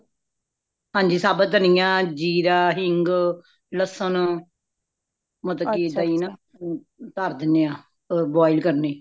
ਹਾਂਜੀ ਸਾਬਤ ਦਾਣਿਆਂ ,ਜੀਰਾਂ ,ਹਿੰਗ ,ਲੱਸਣ ਮਤਲਬ ਕਿ ਦਹੀਂ ਨਾ ਤਰਦੇਨੇ ਹਾਂ boil ਕਰਨੀ